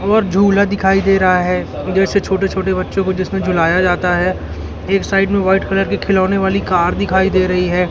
और झूला दिखाई दे रहा है इधर से छोटे छोटे बच्चों को जिसमें झूलाया जाता है एक साइड में व्हाइट कलर की खिलौने वाली कार दिखाई दे रही है।